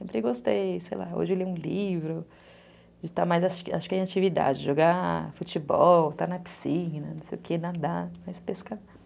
Sempre gostei, sei lá, hoje eu leio um livro, acho que é uma atividade, jogar futebol, estar na piscina, não sei o que, nadar, mas pescar não.